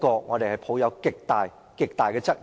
我對此抱有極大質疑。